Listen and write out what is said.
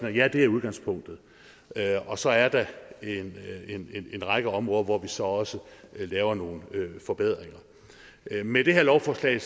er ja det er udgangspunktet og så er der en række områder hvor vi så også laver nogle forbedringer med det her lovforslag